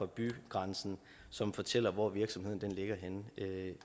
bygrænsen som fortæller hvor virksomheden ligger henne